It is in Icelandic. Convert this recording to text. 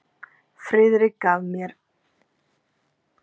Friðrik fyrirgaf mér allt.